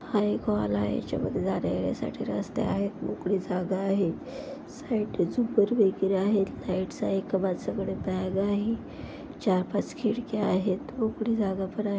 हा एक हॉल आहे याच्या मध्ये जाण्यायेण्यासाठी रस्ते आहेत मोकळी जागा आहे साईडने जुम्मर वैगरे आहे लाइट्स आहे एका माणसाकडे बॅग आहे चार पाच खिडक्या आहेत मोकळी जागा पण आहे.